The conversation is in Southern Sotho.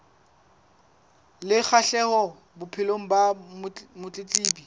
le kgahleho bophelong ba motletlebi